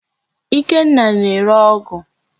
Ikenna na-ere ọgụ.